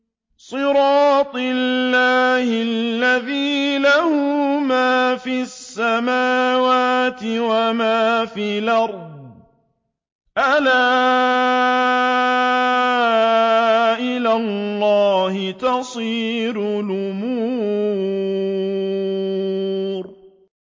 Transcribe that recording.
صِرَاطِ اللَّهِ الَّذِي لَهُ مَا فِي السَّمَاوَاتِ وَمَا فِي الْأَرْضِ ۗ أَلَا إِلَى اللَّهِ تَصِيرُ الْأُمُورُ